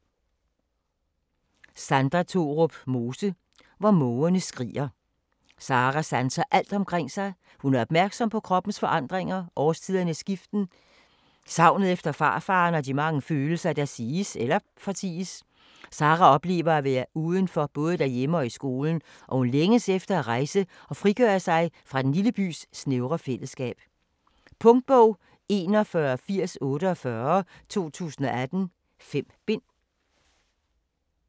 Mose, Sandra Thorup: Hvor mågerne skriger Sarah sanser alt omkring sig. Hun er opmærksom på kroppens forandringer, årstidernes skiften, savnet efter farfaderen og de mange følelser, der siges eller forties. Sarah oplever at være uden for både derhjemme og i skolen og hun længes efter at rejse og frigøre sig fra den lille bys snævre fælleskab. Punktbog 418048 2018. 5 bind.